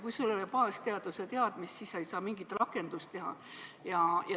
Kui sul ei ole baasteadmisi, siis sa ei saa ka mingit rakendusteadust teha.